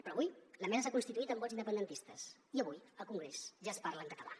però avui la mesa s’ha constituït amb vots independentistes i avui al congrés ja es parla en català